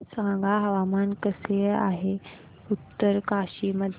सांगा हवामान कसे आहे उत्तरकाशी मध्ये